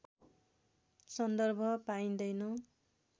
सन्दर्भ पाइँदैन